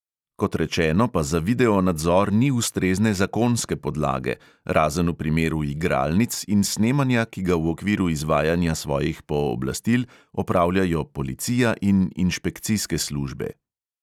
Kot rečeno, pa za video nadzor ni ustrezne zakonske podlage, razen v primeru igralnic in snemanja, ki ga v okviru izvajanja svojih pooblastil opravljajo policija in inšpekcijske službe.